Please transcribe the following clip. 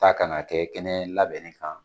Taa ka na kɛ kɛnɛ labɛnnen kan